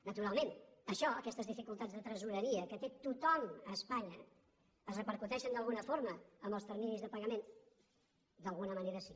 naturalment això aquestes dificultats de tresoreria que té tothom a espanya es repercuteixen d’alguna forma en els terminis de pagament d’alguna manera sí